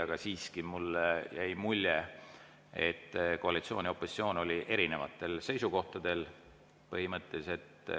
Aga siiski jäi mulle mulje, et koalitsioon ja opositsioon olid põhimõtteliselt erinevatel seisukohtadel.